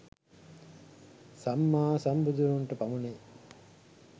සම්මා සම්බුදුවරුන්ට පමණ ය.